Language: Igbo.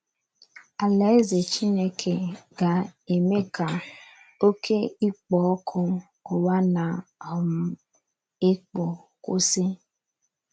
Alaeze Chineke ga - eme ka oké ikpo ọkụ ụwa na - um ekpo kwụsị.